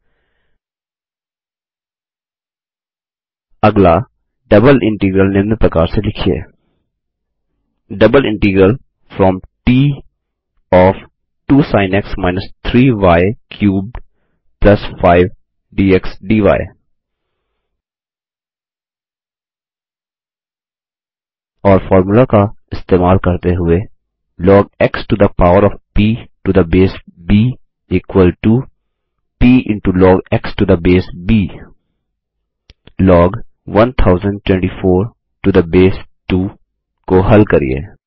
अगला double integral दोहरा integral निम्न प्रकार से लिखिए double integral from t of 2 sin x - 3 y cubed 5 dx dy और फॉर्मूला का इस्तेमाल करते हुए log x to the power of p to the base b equal to p into log x to the base b log 1024 to the base 2 को हल करिये